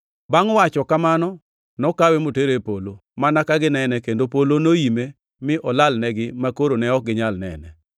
Bangʼ wacho mano, nokawe motere e polo, mana ka ginene, kendo polo noime mi olalnegi, makoro ne ok ginyal nene.